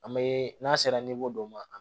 An bɛ n'a sera dɔ ma